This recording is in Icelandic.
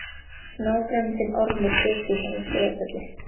Nágranni þinn, Ormur Sturluson á Sauðafelli.